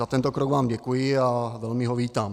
Za tento krok vám děkuji a velmi ho vítám.